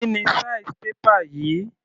Kíni size paper yìí?